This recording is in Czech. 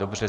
Dobře.